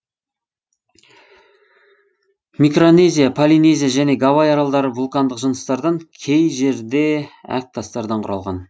микронезия полинезия және гавай аралдары вулкандық жыныстардан кей жерде әк тастардан құралған